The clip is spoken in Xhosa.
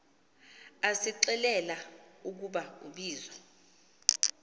asixelela ukuba ubizo